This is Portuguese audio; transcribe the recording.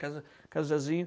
Casa casa do Zazinho.